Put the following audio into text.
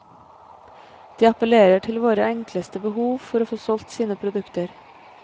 De appellerer til våre enkleste behov for å få solgt sine produkter.